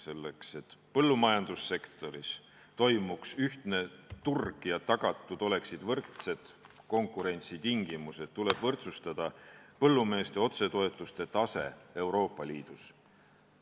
Selleks et põllumajandussektoris toimiks ühtne turg ja tagatud oleksid võrdsed konkurentsitingimused, tuleb võrdsustada põllumeeste otsetoetuste tase Euroopa Liidus.